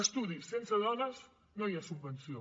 estudis sense dones no hi ha subvenció